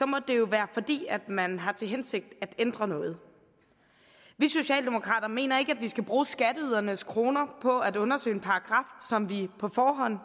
må det jo være fordi man har til hensigt at ændre noget vi socialdemokrater mener ikke at vi skal bruge skatteydernes kroner på at undersøge en paragraf som vi på forhånd